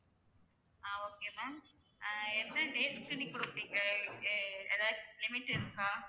ஆஹ் okay ma'am ah என்ன dates க்கு கொடுப்பீங்க ஏ~ ஏதாச்சும் limit இருக்கா?